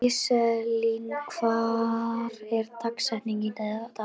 Íselín, hver er dagsetningin í dag?